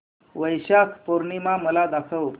वैशाख पूर्णिमा मला दाखव